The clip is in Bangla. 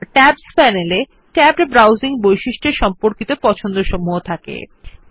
টেবস প্যানেল এ ট্যাবড ব্রাউজিং বৈশিষ্ট্যের সম্পর্কিত পছন্দসমূহ থাকে থাকে